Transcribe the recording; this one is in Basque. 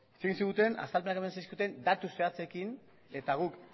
hitz egin ziguten azalpenak eman zizkiguten datu zehatzekin eta guk